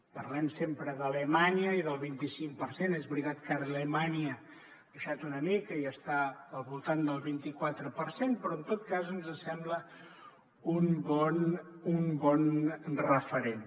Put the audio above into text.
parlem sempre d’alemanya i del vint i cinc per cent és veritat que ara alemanya ha baixat una mica i està al voltant del vint i quatre per cent però en tot cas ens sembla un bon referent